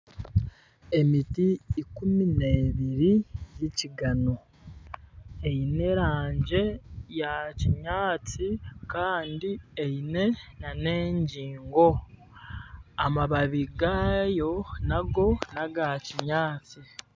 Emiti ikumi n'ebiri z'ekigano eine erangi ya kinyaatsi kandi eine n'engingo amababi gaayo nago n'aga kinyaatsi.